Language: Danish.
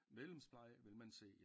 Medlemspleje vil man se